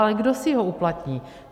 Ale kdo si ho uplatní?